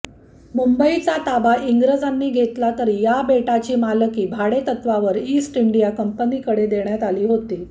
मुंबईचा ताबा इंग्रजांनी घेतला तरी या बेटाची मालकी भाडेतत्त्वावर ईस्ट इंडिया कंपनीकडे देण्यात आली होती